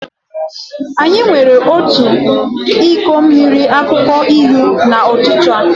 Anyị were otu iko mmiri akwụkwọ ilu n'ụtụtụ a.